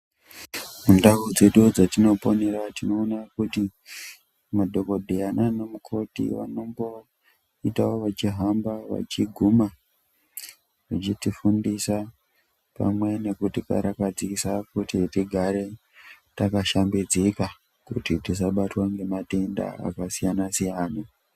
Ndau dzedu dzatinoponera tinoona kuti madhokotera nanamukoti vanomboita vechihamba veiguma vechiti fundisa pamwe nekutikarakasa kuti tigare takashambidzika tisabatwe ngematenda akasiyana siyana .